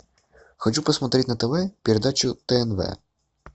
хочу посмотреть на тв передачу тнв